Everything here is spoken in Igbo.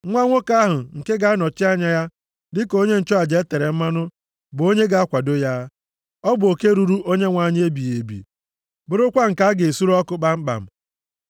Nwa nwoke ahụ nke ga-anọchi ya dịka onye nchụaja e tere mmanụ bụ onye ga-akwado ya. Ọ bụ oke ruuru Onyenwe anyị ebighị ebi, bụrụkwa nke a ga-esure ọkụ kpamkpam.